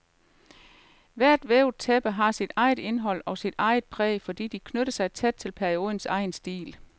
Hvert vævet tæppe har sit eget indhold og sit eget præg, fordi de knytter sig tæt til periodens egen stil.